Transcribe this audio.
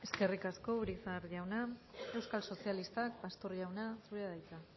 eskerrik asko urizar jauna euskal sozialistak pastor jauna zurea da hitza